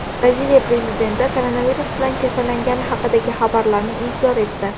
Braziliya prezidenti koronavirus bilan kasallangani haqidagi xabarlarni inkor etdi.